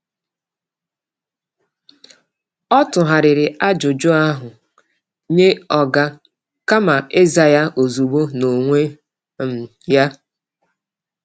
Ọ tụgharịrị ajụjụ ahụ nye oga kama ịza ya ozugbo n’onwe um ya.